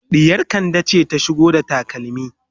ɗiyar kande ce ta shigo da takalmi